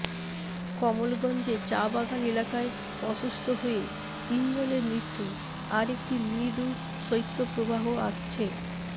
কমলগঞ্জে চা বাগান এলাকায় অসুস্থ হয়ে তিনজনের মৃত্যু আরেকটি মৃদু শৈত্যপ্রবাহ আসছে